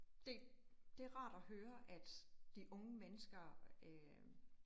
Det det rart at høre, at de unge mennesker øh